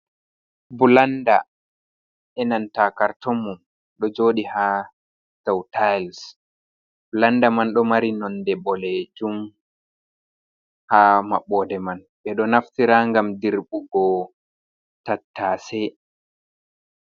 Bulanda enanta cartom mun ɗo joɗi ha diu tiles, blanda man ɗo mari nonde boɗejum ha maɓode man ɓeɗo naftira gam dirɓugo tattase.